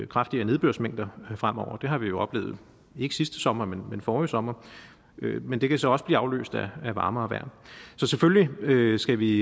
kraftigere nedbørsmængder fremover det har vi jo oplevet ikke sidste sommer men men forrige sommer men det kan så også blive afløst af varmere vejr så selvfølgelig skal vi